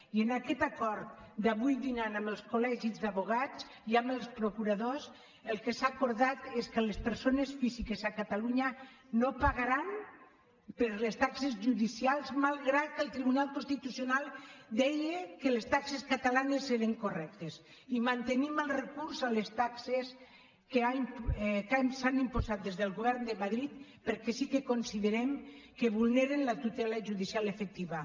i amb aquest acord d’avui dinant amb els col·legis d’advocats i amb els procuradors el que s’ha acordat és que les persones físiques a catalunya no pagaran per les taxes judicials malgrat que el tribunal constitucional deia que les taxes catalanes eren correctes i mantenim el recurs contra les taxes que s’han imposat des del govern de madrid perquè sí que considerem que vulneren la tutela judicial efectiva